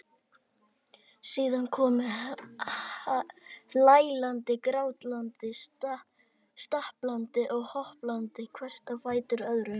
Síðan komu hlæland, grátland, stappland og hoppland hvert á fætur öðru.